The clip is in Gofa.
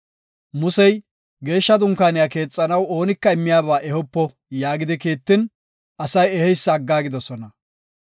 Musey, “Geeshsha Dunkaaniya keexanaw oonika immiyaba ehopo” yaagidi kiittin, asay eheysa aggaagidosona.